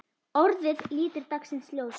ORÐIÐ lítur dagsins ljós.